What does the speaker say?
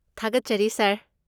ꯊꯥꯒꯠꯆꯔꯤ ꯁꯥꯔ꯫